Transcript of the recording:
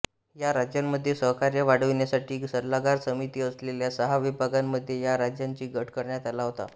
या राज्यांमध्ये सहकार्य वाढविण्यासाठी सल्लागार समिती असलेल्या सहा विभागांमध्ये या राज्यांच्या गट करण्यात आला होता